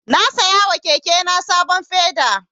Na siya wa keke na sabon feda.